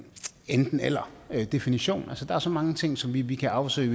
enten eller definition der er så mange ting som vi vi kan afsøge